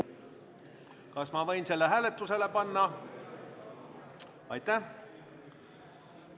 Kas ma võin selle hääletusele panna?